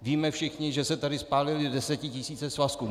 Víme všichni, že se tady spálily desetitisíce svazků.